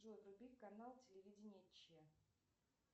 джой вруби канал телевидения че